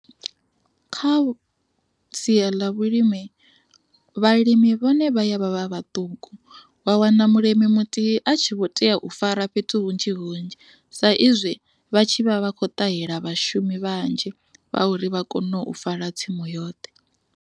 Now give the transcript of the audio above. Kha sia ḽa vhulimi vhalimi vhone vha ya vha vha vhaṱuku wa wana mulimi muthihi a tshi vho tea u fara fhethu hunzhi hunzhi sa izwi vha tshi vha vha kho ṱahela vhashumi vhanzhi vha uri vha kone u fara tsimu yoṱhe.